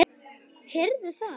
Heyrðu það!